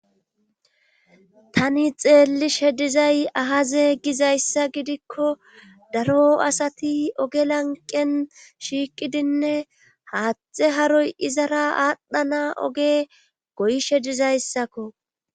Tani xeelli shedizay ahaze gizayssa gidikko daro asati oge lanqen shiiqidinne haattxe haroy izara aadhdhana oge goyishe dizayssakko